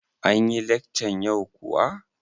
Anyi lekcan yau kuwa?